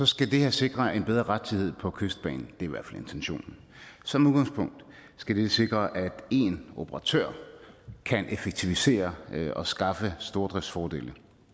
skal det her sikre en bedre rettidighed på kystbanen det i hvert fald intentionen som udgangspunkt skal det sikre at én operatør kan effektivisere og skaffe stordriftsfordele